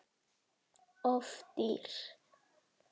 Of dýr